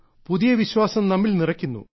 പുതിയ വിശ്വാസം നമ്മിൽ നിറയ്ക്കുന്നു